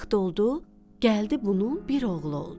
Vaxt oldu, gəldi bunun bir oğlu oldu.